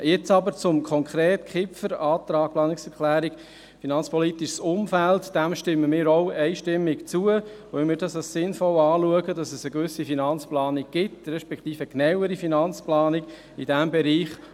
Nun aber konkret zur Planungserklärung Kipfer zum finanzpolitischen Umfeld: Dieser stimmen wir einstimmig zu, weil wir es als sinnvoll erachten, dass es in diesem Bereich eine genauere Finanzplanung gibt.